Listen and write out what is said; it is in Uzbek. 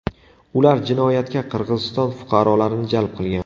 Ular jinoyatga Qirg‘iziston fuqarolarini jalb qilgan.